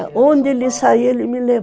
Onde ele saia, ele me levava